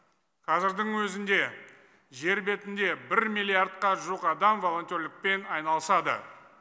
қазірдің өзінде жер бетінде бір миллиардқа жуық адам волонтерлікпен айналысады